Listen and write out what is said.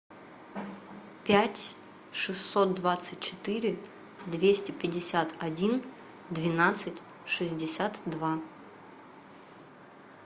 пять шестьсот двадцать четыре двести пятьдесят один двенадцать шестьдесят два